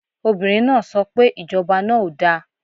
Obìnrin náà so pe Ìjọba náà ò da